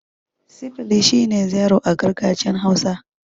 Sifili' shine zero a gargajiyan hausa.